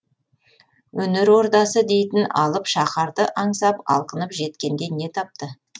өнер ордасы дейтін алып шаһарды аңсап алқынып жеткенде не тапты